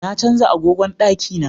Na canja agogon daki na